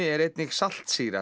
er einnig